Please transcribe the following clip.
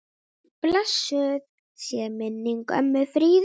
Blessuð sé minning ömmu Fríðu.